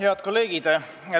Head kolleegid!